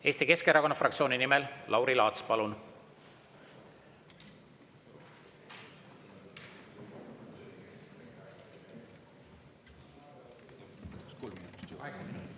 Eesti Keskerakonna fraktsiooni nimel Lauri Laats, palun!